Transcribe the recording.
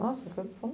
Nossa, foi foi um